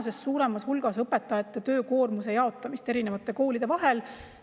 See eeldab tulevikus õpetajate töökoormuse jaotamist erinevate koolide vahel tänasest suuremas hulgas.